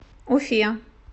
уфе